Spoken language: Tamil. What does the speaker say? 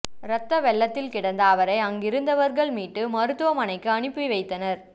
ரத்த வெள்ளத்தில் கிடந்த அவரை அருகிலிந்தவர்கள் மீட்டு மருத்துவமனைக்கு அனுப்பி வைத்தனர்